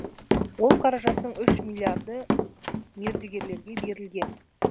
ол қаражаттың үш миллиарды мердігерлерге берілген